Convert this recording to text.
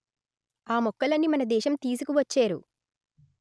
ఆ మొక్కలని మన దేశం తీసుకు వచ్చేరు